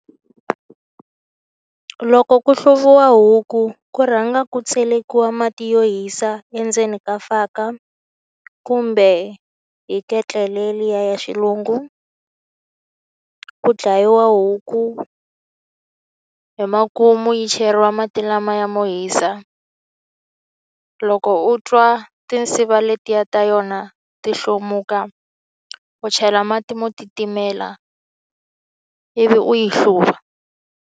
Loko ku hluviwa huku ku rhanga ku tselekiwaka mati yo hisa endzeni ka faka kumbe hi ketlele liya ya xilungu ku dlayiwa huku hi makumu yi cheriwa mati lamaya mo hisa loko u twa tinsiva letiya ta yona ti hlomuka u chela mati mo titimela ivi u yi hluva.